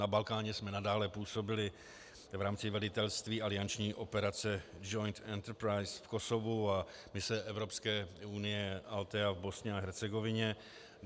Na Balkáně jsme nadále působili v rámci velitelství alianční operace Joint Enterprise v Kosovu a mise Evropské unie Altea v Bosně a Hercegovině.